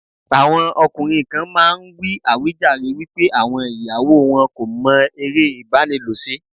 Àwọn ọkùnrin kan máa ń wí àwíjàre wípé àwọn ìyàwó wọn kò mọ eré ìbánilò ṣe.